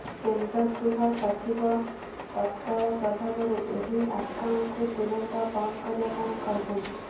କେନ୍ଦ୍ର ଗୃହ ସଚିବ ତକ୍ରାଳ ପ୍ରଭାବରୁ ଏହି ଆକାଉଣ୍ଟ୍ କୁ ତୁରନ୍ତ ବନ୍ଦ କରିବା ପାଇଁ କହିଛନ୍ତି